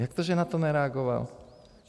Jak to, že na to nereagoval?